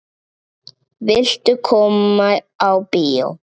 Viltu koma á bíó?